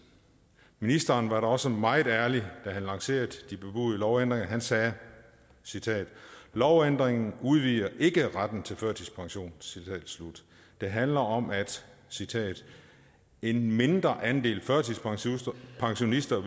ministeren var da også meget ærlig da han lancerede de bebudede lovændringer han sagde lovændringen udvider ikke retten til førtidspension det handler om at en mindre andel førtidspensionister